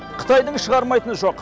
қытайдың шығармайтыны жоқ